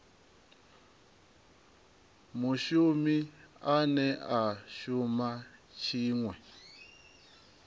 mushumi ane a shuma tshiṅwe